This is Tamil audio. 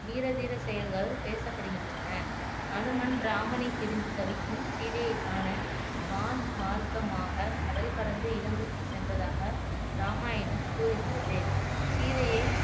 வீர தீர செயல்கள் பேசப்படுகின்றன அனுமன் ராமனை பிரிந்து தவிக்கும் சீதையைக் காண வான் மார்க்கமாக கடல் கடந்து இலங்கைக்கு சென்றதாக ராமாயணம் கூறுகிறது சீதையை